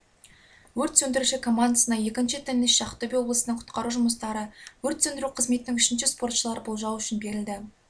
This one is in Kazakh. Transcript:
өрт сөндіруші командасына екінші теннисші - ақтөбе облысының құтқару жұмыстары өрт сөндіру қызметінің үшінші спортшылары - болжау үшін берілді